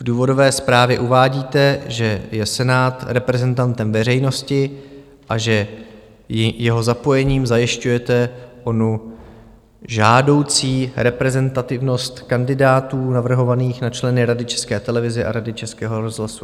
V důvodové zprávě uvádíte, že je Senát reprezentantem veřejnosti a že jeho zapojením zajišťujete onu žádoucí reprezentativnost kandidátů navrhovaných na členy Rady České televize a Rady Českého rozhlasu.